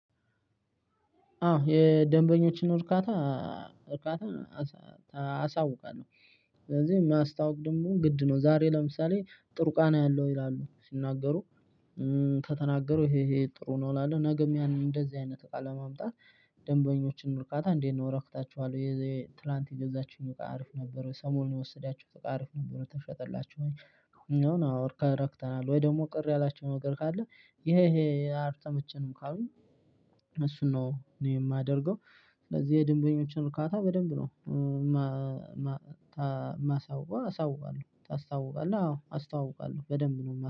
አዎ የደንበኞችን እርካታ እርካታ አሳውቃለዉ። ስለዚህ ማስታወቅ ደግሞ ግድ ነው። ዛሬ ለምሳሌ ጥሩ ቃና ያለው ይላሉ ሲናገሩ ከተናገሩ ይሄ ይሄ ጥሩ ነው እላለው። ነገም ያንን እንደዚህ አይነት አቃ ማምጣት ደንበኞችን እርካታ እንዴት ነው እረክታችኋል የዚህ ትላንት የገዛቹኝ እቃ አሪፍ ነበር ወይ ሰሞኑን የወሰዳችሁት እቃ አሪፍ ነበር ተሸጠላችሁ ወይ እኛ ነው ተረክተናል ወይ ደግሞ ቅር ያላቸው ነገር ካለ ይሄ ይሄ አልተመቸንም ካሉኝ እሱን ነው እኔ የማደርገው። ስለዚህ የደንበኞችን አርካታ በደንብ ነው ማሳወቅ አሳውቃለው ታስታውቃለህ አዎ አስታውቃለው በደንብ ነው።